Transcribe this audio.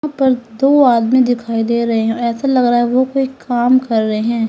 प र दो आदमी दिखाई दे रहे हैं ऐसा लग रहा है वो कोई काम कर रहे हैं।